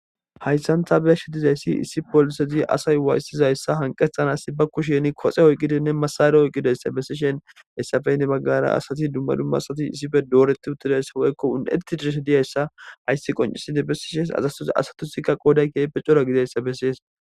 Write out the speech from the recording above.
hayssantha be shi dizayssi issi poolisezi asay waayssizayssa hanqethanas ba kusheni koxe oyqqidinne masare oyqqidayssa bessishen hessafeynne baggara asati dumma dumma asati issife dooretti uttidayssa woykko un7etti diishe diyayssa hayssi qoncisidi besishes azastoz asatusikka qooday keeype cora gidayssa bessees